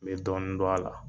N be dɔɔni dɔn a la.